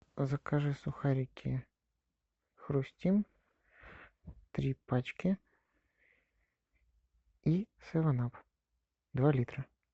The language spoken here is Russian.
закажи сухарики хрустим три пачки и севен ап два литра